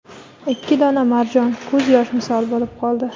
Ikki dona marjon ko‘z yosh misol bo‘lib qoldi.